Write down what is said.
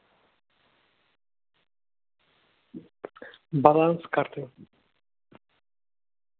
баланс карты